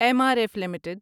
M R F limited